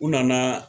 U nana